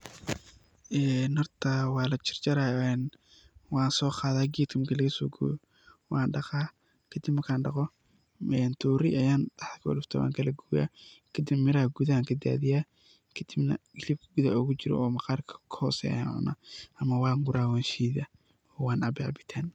Horta, wa lajarjaraa, waan sooqaada gedk marka lagasoogooyo. Waan dhiqaa. Kadib mark aan dhiqo, toori ayann dhahda ugudufta waan kalagooyaa. Kadib miraha gudaha ayaa kadaadhiyaa, kadibna hilibka gudaha ogujiro oo maqarka kahooseeyo ayaan cunaa ama waan buraa, waan shiidaa, waan cabaa cabitaan.